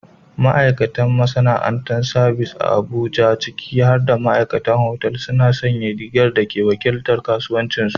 Ma'aikatan masana'antar sabis a Abuja, ciki har da ma'aikatan otal, suna sanya rigar rigar da ke wakiltar kasuwancinsu ɗaya.